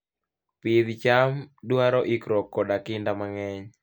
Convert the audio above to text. Pidh cham dwaro ikruok koda kinda mang'eny.